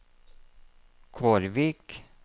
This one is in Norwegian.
Kårvik